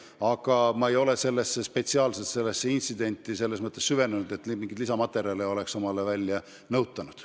Aga ma ei ole sellesse intsidenti spetsiaalselt süvenenud ega mingeid lisamaterjale välja nõutanud.